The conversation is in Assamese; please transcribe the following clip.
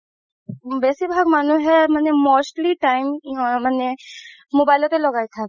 বেচিভাগ মানুহে মানে mostly time মানে mobile তে লগাই থাকে